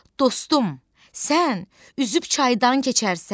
Dostum, sən üzüb çaydan keçərsən,